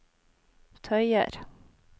tøyer